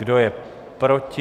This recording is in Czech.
Kdo je proti?